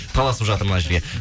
таласып жатыр мына жерге